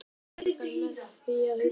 Erfiðu máli bjargað með því að hugsa